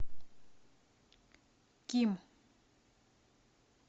ким